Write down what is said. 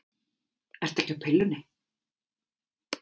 Ertu ekki á pillunni?